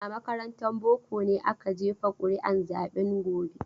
A makarantar boko ne aka jefa ƙuri'un zaben gobe.